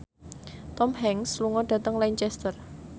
Tom Hanks lunga dhateng Lancaster